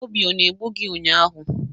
Obi ọ na-egbu gị ụnyahụ?